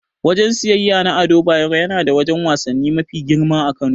Wajen siyeyya na Ado Bayero yana da wajen wasanni mafi girma a Kano.